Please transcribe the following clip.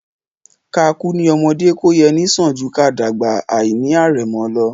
Ká kú ní ọmọdé kó yẹ ni sàn jù ká dàgbà àìní àrẹ̀mọ lọ